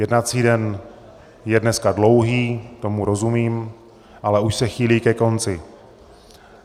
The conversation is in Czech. Jednací den je dneska dlouhý, tomu rozumím, ale už se chýlí ke konci.